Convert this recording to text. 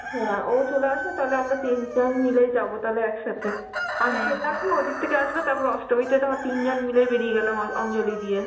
হ্যাঁ ও চলে আসবে তাহলে আমরা তিনজন মিলে যাব তাহলে একসাথে. আমি চলে আসবো, ওই দিক থেকে আসবে, তারপরে অষ্টমীতে ধর তিনজন মিলেই বেরিয়ে গেলাম অন~ অঞ্জলি দিয়ে.